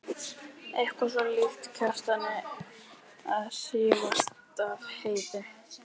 Eitthvað svo líkt Kjartani að hrífast af Heiðu.